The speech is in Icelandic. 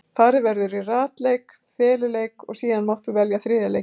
Farið verður í ratleik, feluleik og síðan mátt þú velja þriðja leikinn.